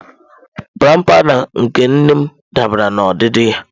Brown powụda nke nne m dabara na odidi ya.